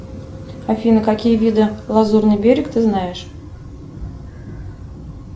афина какие виды лазурный берег ты знаешь